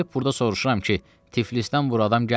Gəlib burda soruşuram ki, Tiflisdən bu adam gəlməyib?